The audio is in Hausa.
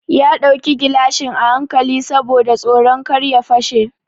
Ya ɗauki gilashin a hankali saboda tsoron kar ya fasa shi.